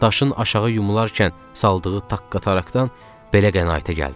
Daşın aşağı yuvarlarkən saldığı taqqıltıdan belə qənaətə gəldim.